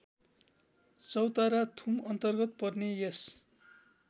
चौतराथुमअन्तर्गत पर्ने यस